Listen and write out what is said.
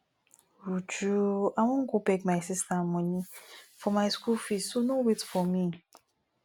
uju i wan go beg my sister money for my school fees so no wait for me